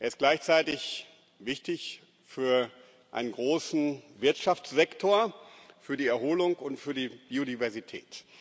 Er ist gleichzeitig wichtig für einen großen Wirtschaftssektor, für die Erholung und für die Biodiversität.